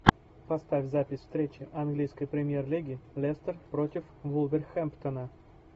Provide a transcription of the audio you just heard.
поставь запись встречи английской премьер лиги лестер против вулверхэмптона